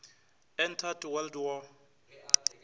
entered world war